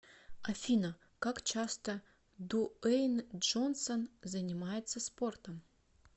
афина как часто дуэйн джонсон занимается спортом